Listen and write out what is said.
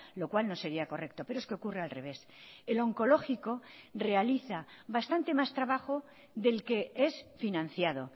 lo cual no sería correcto pero es que ocurre al revés el oncológico realiza bastante más trabajo del que es financiado